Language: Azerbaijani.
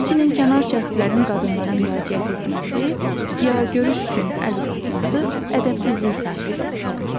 Həmçinin kənar şəxslərin qadınlara müraciət etməsi, ya görüş üçün əl uzatması ədəbsizlik sayılır.